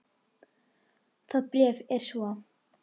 Það bréf er svo